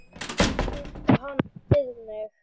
Binda hana við mig.